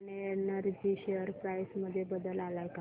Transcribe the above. Swan energy share price मध्ये बदल आलाय का